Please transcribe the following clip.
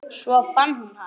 Svo fann hún hann.